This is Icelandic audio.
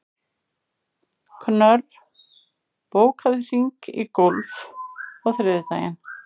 Knörr, bókaðu hring í golf á þriðjudaginn.